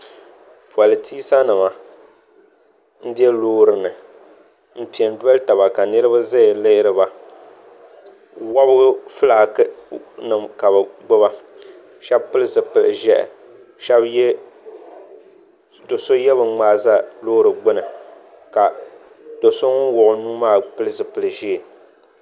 polintisa nima m-be loori ni m-pe doli taba ka niriba zaya lihiri ba wɔbigu fulaaki nima ka bɛ gbuba shɛba pili zupil' ʒɛhi do' so ye bin' ŋmaai za loori gbuni ka do' so ŋun wuɣi o nuu maa pili zupil' ʒee.